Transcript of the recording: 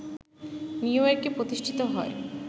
নিউইয়র্কে প্রতিষ্ঠিত হয়